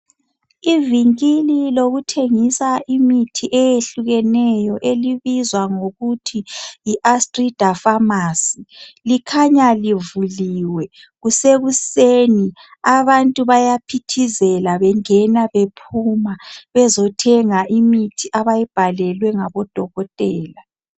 Ivinkili lokuthengisa imithi eyehlukeneyo elibizwa ngokuthi yi ASTRIDA famasi likhanya livuliwe kusekuseni abantu bayaphithizela bengena bephuma bezothenga imithi abayibhalelwe ngabodokotela.